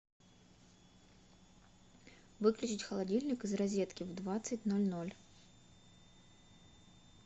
выключить холодильник из розетки в двадцать ноль ноль